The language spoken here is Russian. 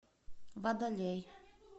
водолей